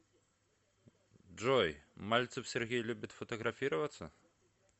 джой мальцев сергей любит фотографироваться